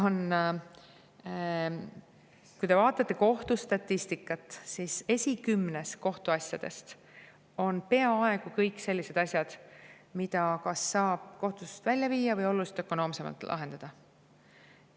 Kui te vaatate kohtustatistikat, siis kohtuasjade esikümnes on peaaegu kõik sellised asjad, mida kas saab kohtust välja viia või oluliselt ökonoomsemalt lahendada.